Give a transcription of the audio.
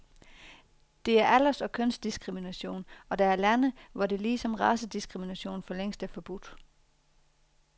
Det er alders og kønsdiskrimination, og der er lande, hvor det ligesom racediskrimination for længst er forbudt.